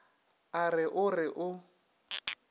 a re o re o